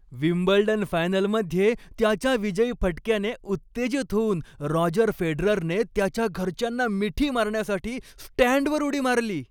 Wimbledon फायनलमध्ये त्याच्या विजयी फटक्याने उत्तेजित होऊन रॉजर फेडररने त्याच्या घरच्यांना मिठी मारण्यासाठी स्टँडवर उडी मारली.